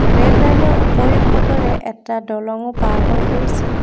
Rail লাইনৰ ওপৰিভাগৰে এটা দলংও পাৰ হৈ গৈছে।